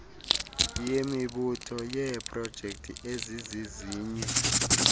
yemibutho yeeprojekthi ezizizinye